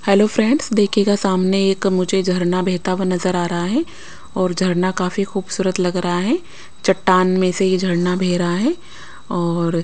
hello friends देखिएगा सामने एक मुझे झरना बहता हुआ नजर आ रहा है और झरना काफी खूबसूरत लग रहा है चट्टान में से यह झरना बह रहा है और --